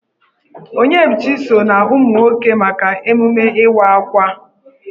Onyebuchi so na umụ nwoke maka emume Ịwa Akwa.